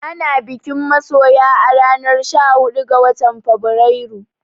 Ana bikin masoya a ranar sha huɗu ga watan Fabrairu